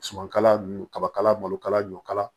Sumankala ninnu kabakala malokala ɲɔkala